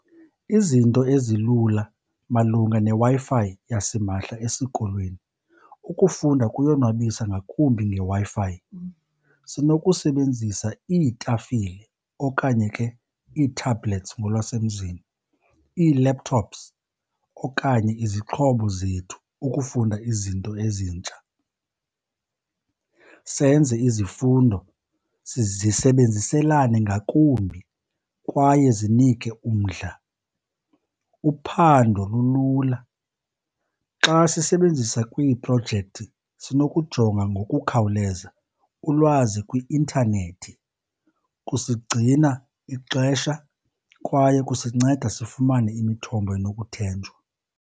Izinto ezilula malunga neWi-Fi yasimahla esikolweni, ukufunda kuyonwabisa ngakumbi ngeWi-Fi. Sinokusebenzisa iitafile okanye ke ii-tablets ngolwasemzini, ii-laptops okanye izixhobo zethu ukufunda izinto ezintsha, senze izifundo zisebenziselane ngakumbi kwaye zinike umdla. Uphando lulula. Xa sisebenzisa kwiiprojekthi sinokujonga ngokukhawuleza ulwazi kwi-intanethi, kusigcina ixesha kwaye kusinceda sifumane imithombo enokuthenjwa.